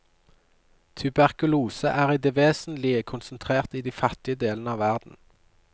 Tuberkulose er i det vesentlige konsentrert i de fattige delene av verden.